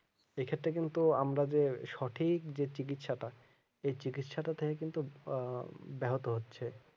এক্ষেত্রে কিন্তু আমরা যে সঠিক যে চিকিৎসা টা এই চিকিৎসাটা থেকে কিন্তু আহ ব্যাহত হচ্ছে